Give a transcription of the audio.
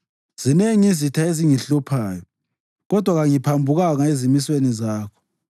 Zinengi izitha ezingihluphayo, kodwa kangiphambukanga ezimisweni zakho.